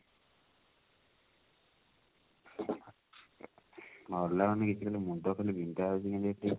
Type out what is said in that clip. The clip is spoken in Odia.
ଭଲ ଲାଗୁନି କିଛି ଗୋଟେ ମୁଣ୍ଡ ଖାଲି ବିନ୍ଧା ହଉଛି କେମିତି